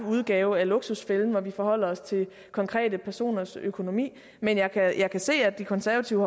udgave af luksusfælden hvor vi forholder os til konkrete personers økonomi men jeg kan jeg kan se at de konservative